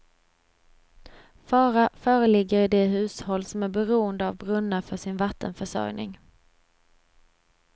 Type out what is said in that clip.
Fara föreligger i de hushåll som är beroende av brunnar för sin vattenförsörjning.